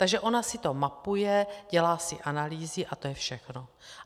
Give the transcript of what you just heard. Takže ona si to mapuje, dělá si analýzy a to je všechno.